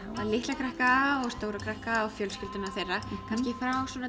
litla krakka og stóra krakka og fjölskyldurnar þeirra kannski frá svona